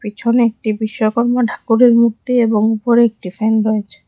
পিছনে একটি বিশ্বকর্মা ঠাকুরের মূর্তি এবং উপরে একটি ফ্যান রয়েছে।